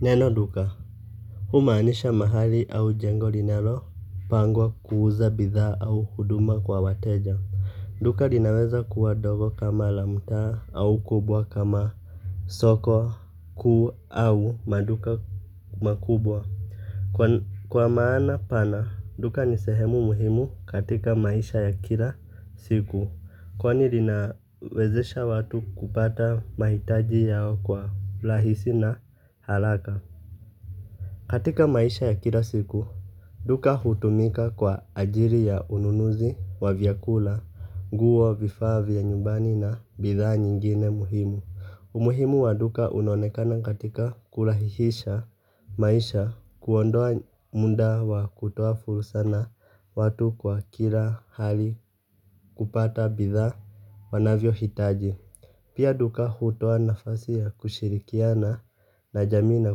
Neno duka, humanisha mahali au jengo linalo pangwa kuuza bidhaa au huduma kwa wateja. Duka linaweza kuwa dogo kama la mtaa au kubwa kama soko kuu au maduka makubwa. Kwa maana pana, duka ni sehemu muhimu katika maisha ya kila siku. Kwani linawezesha watu kupata mahitaji yao kwa lahisi na halaka. Katika maisha ya kila siku, duka hutumika kwa ajili ya ununuzi wa vyakula, nguo vifaa vya nyumbani na bidhaa nyingine muhimu. Umuhimu wa duka unaonekana katika kulahihisha maisha kuondoa munda wa kutoa fursa na watu kwa kila hali kupata bidhaa wanavyo hitaji. Pia duka hutoa nafasi ya kushirikiana na jamii na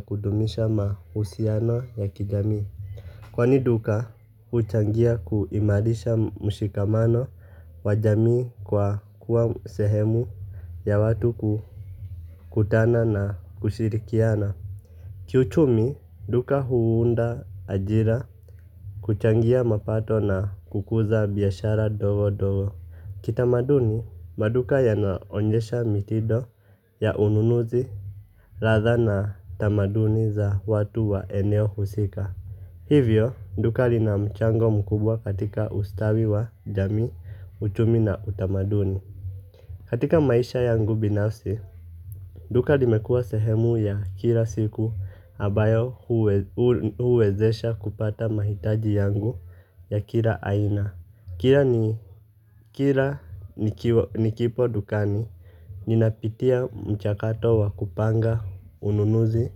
kudumisha ma kwani duka huchangia kuimarisha mushikamano wa jamii kwa kuwa sehemu ya watu kutana na kushirikiana. Kiuchumi duka huunda ajira kuchangia mapato na kukuza biashara ndogondogo kitamaduni maduka yanaonyesha mtindo ya ununuzi ladha na tamaduni za watu wa eneo husika. Hivyo, duka lina mchango mkubwa katika ustawi wa jamii, uchumi na utamaduni. Katika maisha yangu binafsi, duka limekua sehemu ya kila siku ambayo huwezesha kupata mahitaji yangu ya kila aina. Kila nikipo dukani, ninapitia mchakato wa kupanga ununuzi,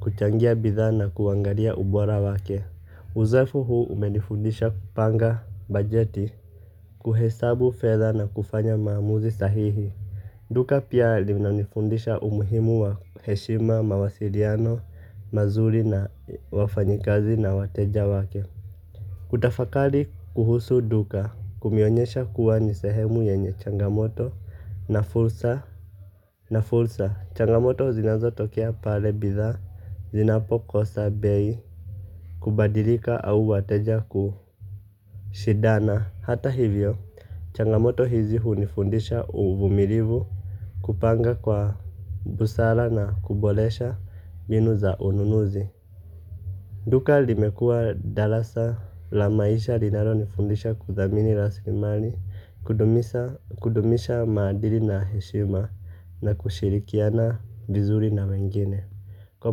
kuchangia bidhana kuangalia ubora wake. Uzoefu huu umenifundisha kupanga bajeti kuhesabu fedha na kufanya maamuzi sahihi Duka pia linanifundisha umuhimu wa heshima, mawasiliano, mazuri na wafanyikazi na wateja wake Kutafakali kuhusu duka kumeonyesha kuwa ni sehemu yenye changamoto na fursa Na fursa, changamoto zinazotokea pale bidhaa, zinapokosa bei Kubadilika au wateja kushindana Hata hivyo, changamoto hizi hunifundisha uvumilivu Kupanga kwa busara na kuboresha mbinu za ununuzi Duka limekua dalasa la maisha linalonifundisha kudhamini raslimali Kudumisha maadili na heshima na kushirikiana vizuri na wengine Kwa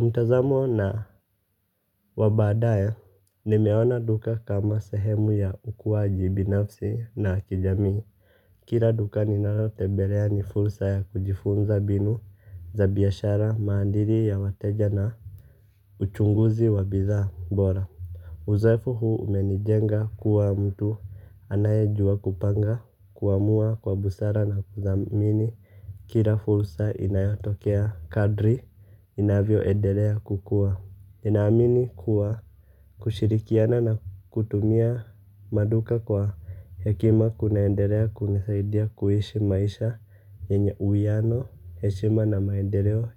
mtazamo na wabadaya, nimeona duka kama sehemu ya ukuaji binafsi na kijamii. Kila duka ninalotembelea ni fursa ya kujifunza mbinu za biashara, maadili ya wateja na uchunguzi wa bidhaa bora. Uzoefu huu umenijenga kuwa mtu anaye jua kupanga kuamua kwa busara na kudhamini. Kila fursa inayatokea kadri inavyo endelea kukua. Ninaamini kuwa kushirikiana na kutumia maduka kwa hekima kunaendelea kunisaidia kuishi maisha yenye uhiano, heshima na maendeleo.